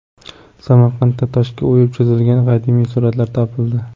Samarqandda toshga o‘yib chizilgan qadimiy suratlar topildi.